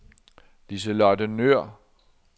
Liselotte Nøhr